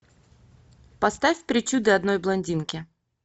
поставь причуды одной блондинки